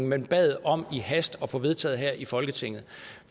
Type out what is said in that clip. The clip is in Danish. man bad om i hast at få vedtaget her i folketinget